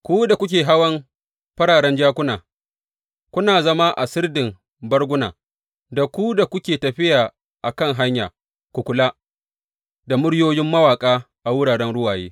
Ku da kuke hawan fararen jakuna, kuna zama a sirdin barguna, da ku da kuke tafiya a kan hanya, ku kula da muryoyin mawaƙa a wuraren ruwaye.